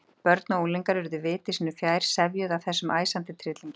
Börn og unglingar urðu viti sínu fjær, sefjuð af þessum æsandi tryllingi.